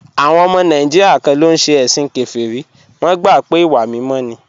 Àwọn ọmọ Nàìjíríà kan ló ń ṣe ẹ̀sìn kèfèrí, wọ́n gbà pé ìwà mímọ́ ni